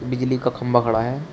बिजली का खंभा खड़ा है।